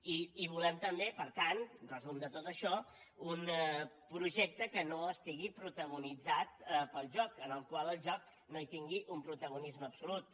i volem també per tant resum de tot això un projecte que no estigui protagonitzat pel joc en el qual el joc no tingui un protagonisme absolut